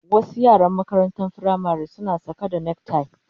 Wasu yaran makarantar firamare suna saka neck tie